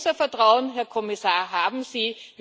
Unser Vertrauen, Herr Kommissar, haben Sie.